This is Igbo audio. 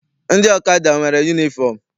Ndị ọkada enwere yunifọm?